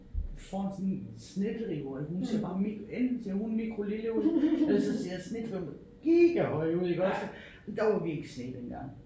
Foran sådan en snedrive og hun ser bare enten ser hun mikrolille ud eller så ser snedriven giga høj ud iggåd der var virkelig sne dengang